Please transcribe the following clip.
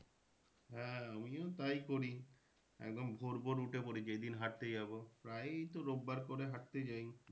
হ্যাঁ আমিও তাই করি একদম ভোর ভোর উঠে পরি যেদিন হাঁটতে যাবো। প্রায়ই তো রোববার করে হাঁটতে যাই।